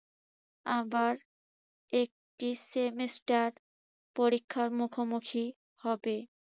আবার একটি semester পরীক্ষার মুখোমুখি হবে।